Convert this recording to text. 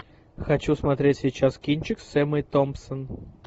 хочу смотреть сейчас кинчик с эммой томпсон